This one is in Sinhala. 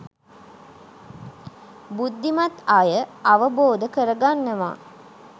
බුද්ධිමත් අය අවබෝධ කරගන්නවා